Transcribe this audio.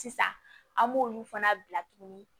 Sisan an b'olu fana bila tuguni